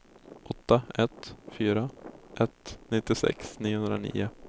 åtta ett fyra ett nittiosex niohundranio